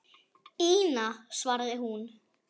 Ína, svaraði hún.